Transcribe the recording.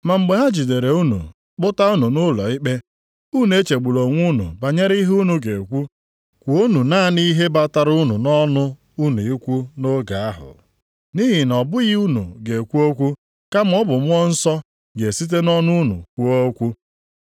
Ma mgbe ha jidere unu kpụta unu nʼụlọikpe, unu echegbula onwe unu banyere ihe unu ga-ekwu, kwuonụ naanị ihe batara unu nʼọnụ unu ikwu nʼoge ahụ. Nʼihi na ọ bụghị unu ga-ekwu okwu, kama ọ bụ Mmụọ Nsọ ga-esite nʼọnụ unu kwuo okwu.